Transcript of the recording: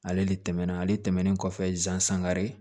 Ale de tɛmɛnen ale tɛmɛnen kɔfɛ zansankare